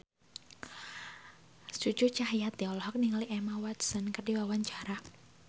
Cucu Cahyati olohok ningali Emma Watson keur diwawancara